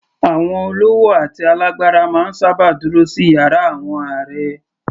Àwọn olówó àti alágbára máa ń sábà dúró sí yàrá àwọn ààrẹ